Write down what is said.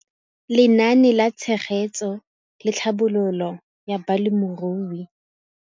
Lenaane la Tshegetso le Tlhabololo ya Balemirui.